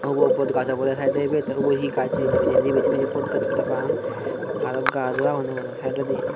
ubow bot gash oboday ubow he gash hejani sebayow botgash parapang arow gusow agonnay saadoidi.